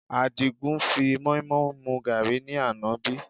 Àdìgún fi moimoi mu gàárì ní àná bí?